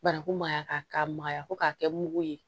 Baraku maya k'a maya ko k'a kɛ mugu ye